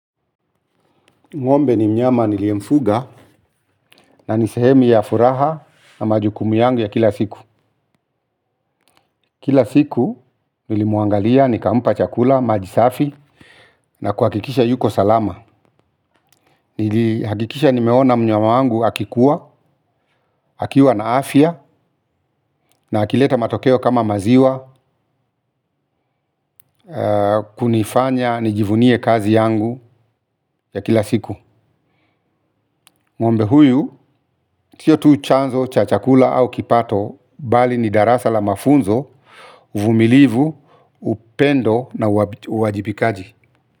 Ng'ombe ni mnyama niliemfuga na nisehemu ya furaha na majukumu yangu ya kila siku. Kila siku nilimuangalia nikampa chakula, majisafi na kuhakikisha yuko salama. Hakikisha nimeona mnyama wangu akikuwa, akiwa na afya na akileta matokeo kama maziwa kunifanya, nijivunie kazi yangu ya kila siku. Ng'ombe huyu si tu chanzo cha chakula au kipato bali ni darasa la mafunzo, uvumilivu, upendo na uwajibikaji.